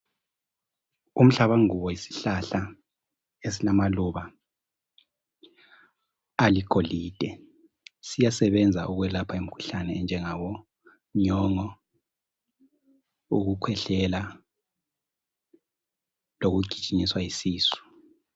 umhlabanguba yisihlahla esilamaluba aligolide siyasebenza ukwelapha imkhuhlane enjangabo nyongo ukukhwehlela lokugijinyiswa yisisu